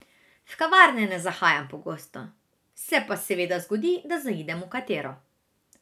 V kavarne ne zahajam pogosto, se pa seveda zgodi, da zaidem v katero.